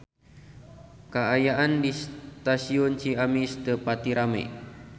Kaayaan di Stasiun Ciamis teu pati rame